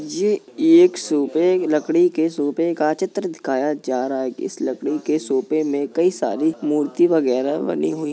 ये एक सोफे लड़की के सोफे का चित्र दिखाया जा रहा है इस लड़की के सोफे में कई सारी मूर्ति वगैरह बनी हुई--